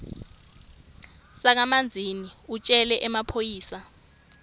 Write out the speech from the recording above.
sakamanzini utjele emaphoyisa